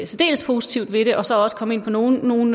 særdeles positivt ved det og så også komme ind på nogle nogle